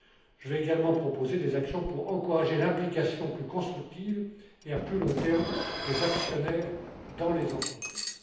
Je vais également proposer des actions pour encourager l'implication plus constructive et à plus long terme des actionnaires dans les entreprises.